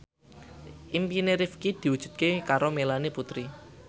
impine Rifqi diwujudke karo Melanie Putri